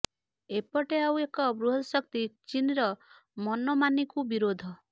ଏପଟେ ଆଉ ଏକ ବୃହତ ଶକ୍ତି ଚୀନ୍ର ମନମାନିକୁ ବିରୋଧ